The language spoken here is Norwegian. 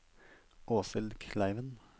Åshild Kleiven